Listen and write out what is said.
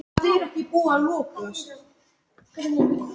Og nú skipti ekkert annað máli.